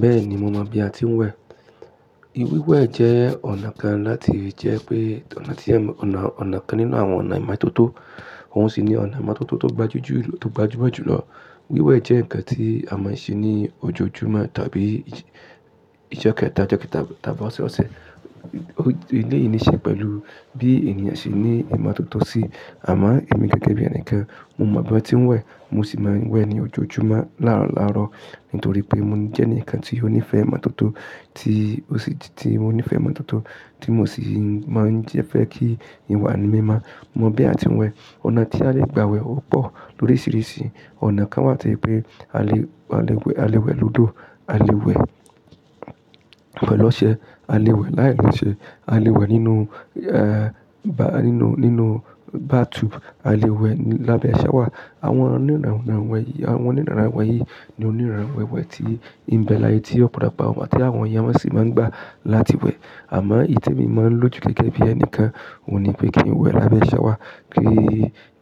Bẹ́ẹ̀ni, mo mọ̀ bí a ti ń wẹ̀. Wíwẹ̀ jẹ́ ọ̀nà kan láti jẹ́ pé ọ̀nà ti é ló ọ̀nà ọ̀nà kan nínú àwọn ọ̀nà ìmọ́tótó, òun sì ni ọ̀nà ìmọ́tótó tó gbajújulu tó gbajúmọ̀ jù lọ. Wíwẹ̀ jẹ́ nǹkan tí a máa ń ṣe ní ojoojúmọ́ tàbí ìjẹ kéta tàb tàb tàbí ọ̀sọ̀ọ̀sẹ̀. Ilé yìí ní í ṣe pẹ̀lú bí ènìyàn ṣe ní ìmọ́tótó sí, àmọ́ èmi gẹ́gẹ́ bí ẹni kan, mo mọ̀ bí a ti ń wẹ̀, mo sì máa ń wẹ̀ ní ojoojúmọ́ láraláro nítorí pé mo jẹ́ ẹnìkan tí ó nífẹ̀ẹ́ ìmọ́tótó tí o sí tí mo sì máa ń jé fẹ́ kí ìwà mi máa mọ̀ bí a ti ń wẹ̀. Ọ̀nà tí a lè gba wẹ̀ ó pọ̀ lóríṣiríṣi. Ọ̀nà kan wà tí pé a lè a lè a lè wẹ̀ lódò, a lè wẹ̀ pẹ̀lú ọṣẹ, a lè wẹ̀ láì lo ṣe, a lè wẹ̀ é nínú bathtub, a lè wẹ̀ lábẹ́ shower. Àwọn oníràwọ̀ yìí ni oníràwẹ̀ wẹ̀ tí ń bẹ láé tí ọ̀pọ̀lọpọ̀ àwọn èèyàn sì máa ń gba láti wẹ̀. Àmọ́ èyí tí èmi máa ń lò jù gẹ́gẹ́ bí ẹni kan, òun ni pé kí n wẹ̀ lábẹ́ aṣẹ́wà. Kí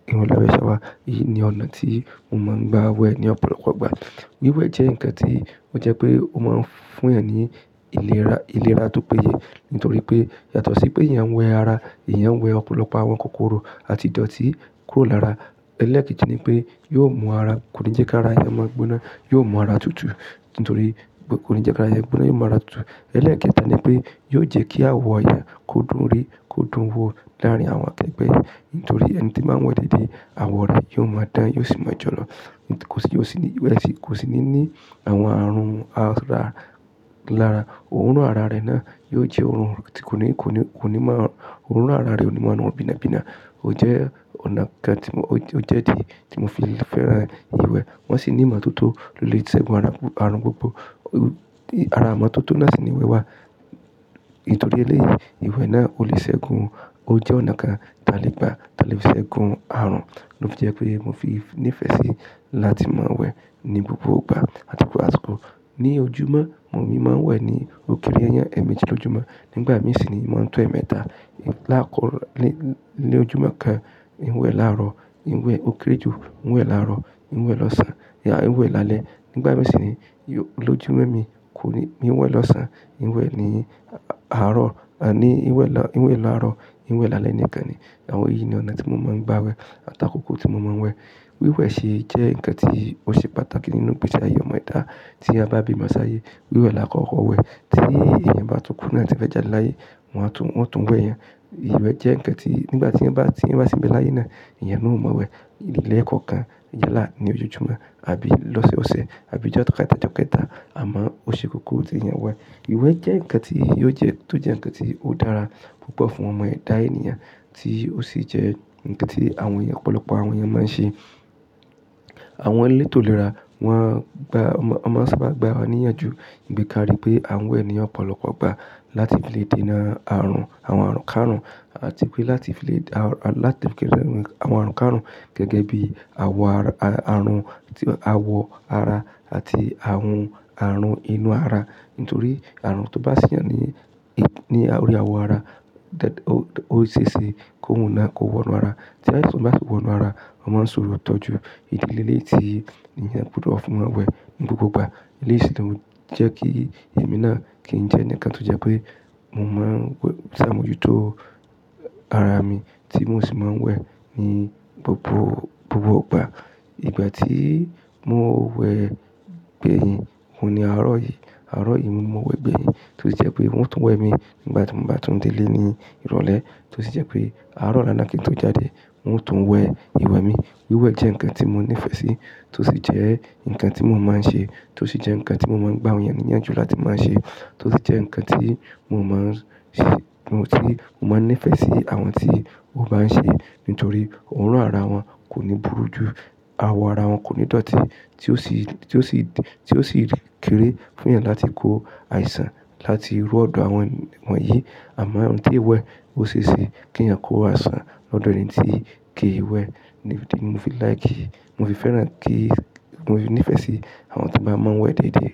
n wẹ̀ lábẹ́ aṣẹ́wà, èyí ni ọ̀nà tí mo máa ń gba wẹ̀ ní ọ̀pọ̀lọpọ̀ ìgbà. Wíwẹ̀ jẹ́ ǹkan tí ó jẹ́ pé ó máa ń fún èèyàn ní ìlera tó péye nítorí pé yàtọ̀ sí pé èèyàn wẹ ara, èèyàn wẹ ọ̀pọ̀lọpọ̀ àwọn kòkòrò àti ìdọ̀tí kúrò lára. Ẹlẹ́ẹ̀kẹ́jì ni pé, yo mu ara, kò ní jẹ́ kí ara èèyàn mọ́ gbóná, yóò mú ara tutù nítorí kò ní jẹ́ kí ara èèyàn gbóná, yóò mú ara tutù. Ẹlẹ́ẹ̀kẹta ni pé yóò jẹ́ kí àwọ̀ èèyàn kó dùn ún rí, kó dùn ún wo láàrín àwọn akẹgbẹ́ nítorí ẹni tí máa ń wẹ̀ déédé, àwọ̀ rẹ yóò máa dán, yóò sì máa jọ̀lọ̀. Kò sì ní ní àwọn àrùn ara lára. Òórùn ara rẹ náà yóò jẹ́ òórùn tí kò ní máa òórùn ara rẹ ò ní máa mú ọ bíná bíná. Ó jẹ́ ọ̀nà kan tí mo fi fẹ́ràn iwẹ̀ wọ́n sì ní ìmọ́tótó le ṣe gun àrùn gbogbo. Ara àwọn amọ́tótó náà sì ní ìwẹ̀ wa nítorí eléyìí, ìwẹ̀ náà ò lè ṣe gun. Ó jẹ́ ọ̀nà kan tí a lè gba ti a le fi ṣe gun àrùn ló fi jẹ́ pé mo fi nífẹ̀ẹ́ sí láti máa wẹ̀ ní gbogbo ìgbà àti kò àti kò. Ni ojúmọ́, mo sì máa ń wẹ̀ ní òkèèrè ẹyẹ méjì lọ́jumo, nígbà mìíràn sì ni mò ń tọ èémẹta. Láàkọ́kọ́ ní ojúmọ́ kan, n wẹ̀ láàrọ̀, n wẹ̀ òkèrè ju, n we laaro, n we losan, n wẹ̀ lálẹ́. Nígbà mì sì ni lọ́jọ́ mi, mi ò wẹ̀ lọ́sàn-án, n wẹ̀ ní àárọ̀, n wẹ̀ lálẹ́ nìkan ni. Àwọn yìí ni ọ̀nà tí mo máa ń gba wẹ̀ àti àkókò tí mo máa ń wẹ̀. Wíwẹ̀ sì jẹ́ ǹkan tí ó ṣe pàtàkì nínú gbèsi ayé ọmọ ẹ̀dá tí a bá bi mó ṣáyé. Wíwẹ̀ là á kọ́ ọ wẹ̀ tí èèyàn bá tún kú náà tí o fe jáde láyé, wọn tún wẹ̀ yan. Ìwẹ̀ jẹ́ ǹkan tí nígbà tí èèyàn bá ti bẹ láyé náà, èèyàn náà ò mọ wẹ̀ ilẹ̀ kan kan ní ojojúmọ́ àbí lọ́sẹ̀ ọsẹ̀ àbí ìjoketa ìjoketa, àmọ́ ó ṣe kókó ki èèyàn wẹ̀. Ìwẹ̀ jẹ́ ǹkan tí ó jẹ́ tó jẹ́ ǹkan tí ó dára púpọ̀ fún ọmọ ẹ̀dá èèyàn tí ó sì jẹ́ ǹkan tí àwọn ọ̀pọ̀lọpọ̀ àwọn èèyàn máa ń ṣe. Àwọn elétò ìlera won máa ń sábà gba wa níyànjú bi karí pé à wẹ̀ ni ọ̀pọ̀lọpọ̀ gbà láti lè dènà àwọn àrùnkárùn àti pé láti lè kéré àwọn àrùnkárùn gẹ́gẹ́ bí àwọ̀ ara àti àwọn àrùn inú ara nítorí àrùn tó bá sì yàn ní orí àwọ̀ ara, ó ṣe é ṣe kó wọ inú ara. Tí àìsàn bá wọ inú ara, wọ́n máa ń ṣòro tọ́jú. Ìdílé eléyìí tí èèyàn gbúdọ̀ fún wọn wẹ̀ ní gbogbo ìgbà. Eléyìí sì gan jẹ́ kí èmi náà kí n jẹ́ ẹni kan tó jẹ́ pé mo máa ń ṣàmójútó ara mi tí mò sì máa ń wẹ̀ ní gbogbo ìgbà. Ìgbà tí mò ń wẹ̀ gbẹ̀yìn, òun ni àárọ̀ yìí. Àárọ̀ yìí mo wẹ̀ gbẹ̀yìn tí ó sì jẹ́ pé wọn tún wẹ̀ mi nígbà tí mò bá tún délé ní ìrọ̀lẹ́ tí ó sì jẹ́ pé àárọ̀ olá kin tó jáde, n o tún wẹ̀ ìwẹ̀ mi. Wíwẹ̀ jẹ́ ǹkan tí mo nífẹ̀ẹ́ sí tí ó sì jẹ́ ǹkan tí mò ń máa ń ṣe tí ó sì jẹ́ ǹkan tí mò ń gba àwọn èèyàn níyànjú láti máa ṣe tí ó sì jẹ́ ǹkan tí mò máa ń nífẹ̀ẹ́ sí àwọn tí ò bá ń ṣe nítorí òórùn ara wọn kò ní burú ju àwọ̀ ara wọn kò ní dọ̀tí tí ó sì rí kéré fún èèyàn láti kó àìsàn láti rú ọ̀dọ̀ àwọn won yìí. Àmọ́ ohun tí ìwẹ̀ ó ṣe é ṣe kí ẹ̀yàn kó àìsàn lọ́dọ̀ ẹni tí kì í wẹ̀. Mo fi like, mo fi fẹ́ràn kí, mo fi nífẹ̀ẹ́ sí àwọn tí bá máa ń wẹ̀ déédé.